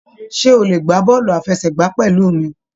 Ṣe o le gbá bọọlu àfẹ́sẹ̀gbà pẹlú mí?